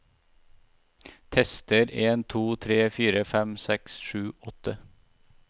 Tester en to tre fire fem seks sju åtte